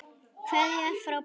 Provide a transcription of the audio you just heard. Kveðja frá pabba.